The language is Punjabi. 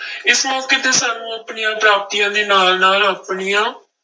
ਇਸ ਮੌਕੇ ਤੇ ਸਾਨੂੰ ਆਪਣੀਆਂ ਪ੍ਰਾਪਤੀਆਂ ਦੇ ਨਾਲ ਨਾਲ ਆਪਣੀਆਂ